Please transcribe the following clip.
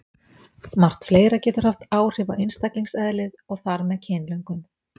Margt fleira getur haft áhrif á einstaklingseðlið og þar með kynlöngun.